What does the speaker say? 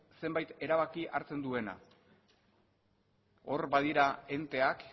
zenbait erabaki hartzen duena hor badira enteak